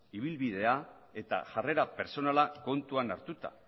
ibilbidea eta jarrera pertsonala kontuan hartuta